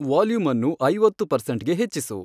volume ಅನ್ನು ಐವತ್ತು ಪರ್ಸೆಂಟ್ಗೆ ಹೆಚ್ಚಿಸು